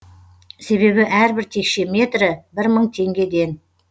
себебі әрбір текше метрі бір мың теңгеден